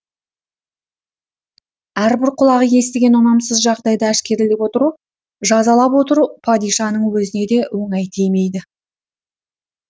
әрбір құлағы естіген ұнамсыз жағдайды әшкерелеп отыру жазалап отыру падишаның өзіне де оңай тимейді